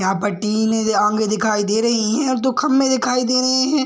यहाँ पर टिन आंगे दिखाई दे रही है और दो खम्भे दिखाई दे रहे हैं।